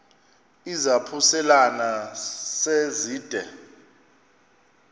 izaphuselana se zide